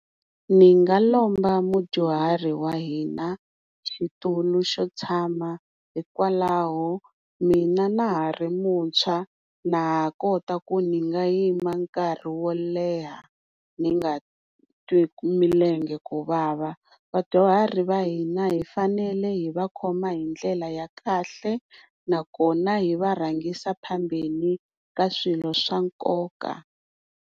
Ni nga lomba mudyuhari wa hina xitulu xo tshama hikwalaho mina na hari mutshwa na ha kota ku ni nga yima nkarhi wo leha ni nga twi milenge ku vava. Vadyuharhi va hina hi fanele hi va khoma hindlela ya kahle nakona hi varhangisa phambeni ka swilo swa nkoka.